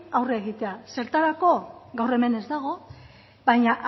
aurre egitea zertarako gaur hemen ez dago baina